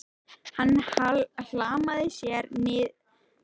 Hann hlammaði sér niður í stól.